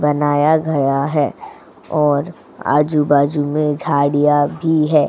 बनाया गया है और आजू-बाजू में झाड़ियाँ भी हैं।